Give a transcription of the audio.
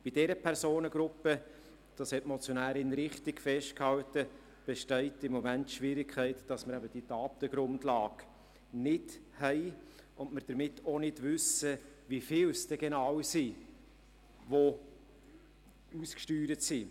Bei dieser Personengruppe – das hat die Motionärin richtig festgehalten – besteht im Moment die Schwierigkeit, dass wir eben die entsprechende Datengrundlage nicht haben und wir damit auch nicht wissen, wie viele denn genau ausgesteuert sind.